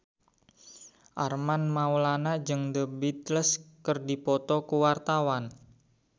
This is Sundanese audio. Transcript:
Armand Maulana jeung The Beatles keur dipoto ku wartawan